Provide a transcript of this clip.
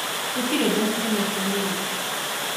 Gũtirĩ mbeca tũneetwo nĩye